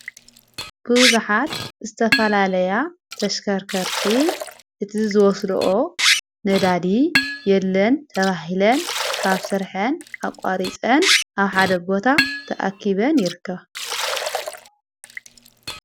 ብዙኃት ዝተፋላለያ ተሽከርከርቲ እቲዝወስድኦ ነዳዲ የለን ተባሂለን ካብ ሠርሐን ኣቋሪፀን ኣብ ሓደቦታ ተኣኪበን ይርከባ።